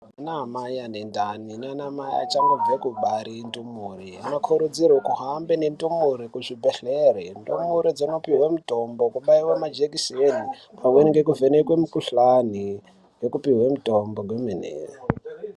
Anamai anendani nanamai achangobve kubare ndumure anokurudzirwe kuhambe nendumure kuzvibhedhlera ndumure dzonipihwe mutombo, kubaiwe majekiseni pamweni ngekuvhenekwe mikhuhlani ynekupihwe mitombo kwemene.